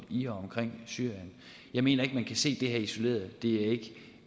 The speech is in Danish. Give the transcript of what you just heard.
i og omkring syrien jeg mener ikke man kan se det her isoleret det